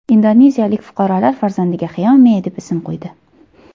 Indoneziyalik fuqarolar farzandiga Xiaomi deb ism qo‘ydi.